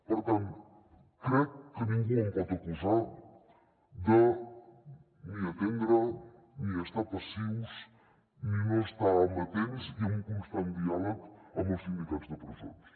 per tant crec que ningú em pot acusar de ni atendre ni estar passius ni no estar amatents i amb un constant diàleg amb els sindicats de presons